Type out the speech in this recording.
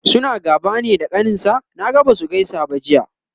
suna gaba ne da kaninsa? Naga Basu gaisa ba Jiya